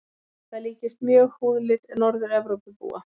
Þetta líkist mjög húðlit Norður-Evrópubúa.